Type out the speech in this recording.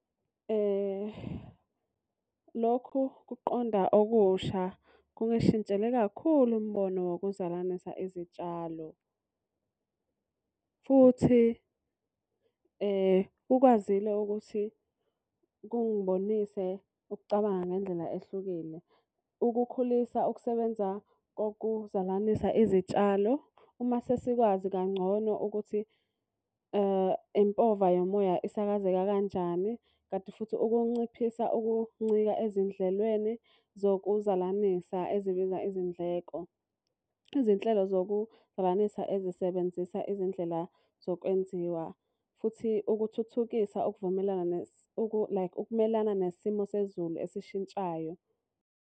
Lokhu kuqonda okusha kungishintshele kakhulu umbono wokuzalanisa izitshalo. Futhi kukwazile ukuthi kungibonise ukucabanga ngendlela ehlukile ukukhulisa ukusebenza kokuzalanisa izitshalo. Uma sesikwazi kangcono ukuthi impova yomoya isakazeke kanjani. Kanti futhi ukunciphisa ukuncika ezindlelweni zokuzalanisa ezibiza izindleko. Izinhlelo zokuzalanisa ezisebenzisa izindlela zokwenziwa futhi ukuthuthukisa ukuvumelana like ukumelana nesimo sezulu esishintshayo.